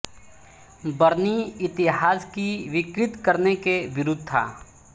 बरनी इतिहास की विकृत करने के विरूद्ध था